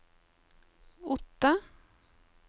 Otta